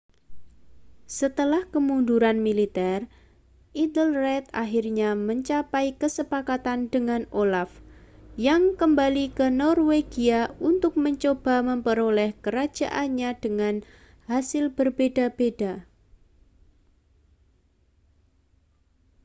setelah kemunduran militer ethelred akhirnya mencapai kesepakatan dengan olaf yang kembali ke norwegia untuk mencoba memperoleh kerajaannya dengan hasil berbeda-beda